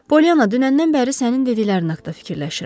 Pollyanna, dünəndən bəri sənin dediklərin haqda fikirləşirəm.